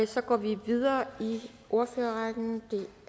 så går vi videre i ordførerrækken